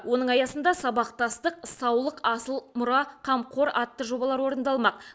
оның аясында сабақтастық саулық асыл мұра қамқор атты жобалар орындалмақ